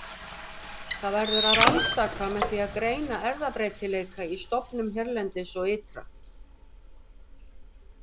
Það verður að rannsaka með því að greina erfðabreytileika í stofnum hérlendis og ytra.